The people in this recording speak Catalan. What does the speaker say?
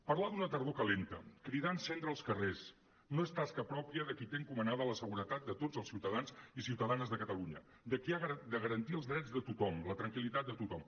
parlar d’una tardor calenta cridar a encendre els carrers no és tasca pròpia de qui té encomanada la seguretat de tots els ciutadans i ciutadanes de catalunya de qui ha de garantir els drets de tothom la tranquil·litat de tothom